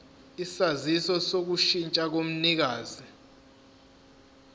isaziso sokushintsha komnikazi